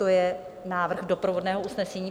To je návrh doprovodného usnesení.